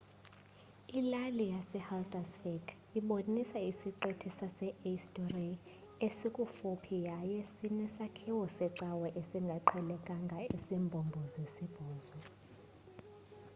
ilali yasehaldarsvik ibonisa isiqithi sase-eysturiy esikufuphi yaye sinesakhiwo secawa esingaqhelekanga esimbombo-sibhozo